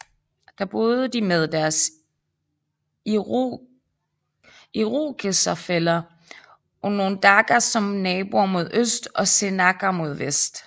Der boede de med deres irokeserfæller onondaga som naboer mod øst og seneca mod vest